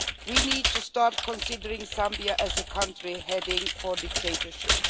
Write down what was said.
We need to start considering Zambia as a country heading for dictatorship.